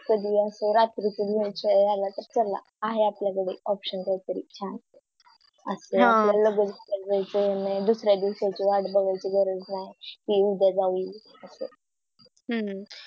कधी असं रात्री च वेळ मिळाला तर समझ चला आहे आपल्या कडे Option काहीतरी छाण असं हम्म आपल्याला कुठे जायचं नाहि दुसऱ्या दिवसाची वाट बघायची गरज नाही कि उद्या जाऊअसं